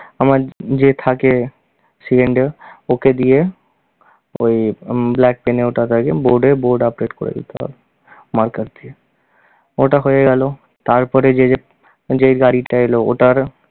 আমার যে থাকে সে ওকে দিয়ে ওই উহ black pen এ ওটাথাকে, board এ board update করে দিতে হয়, marker দিয়ে। ওটা হয়ে গেল তারপরে যে, যে গাড়িটা এল ওটার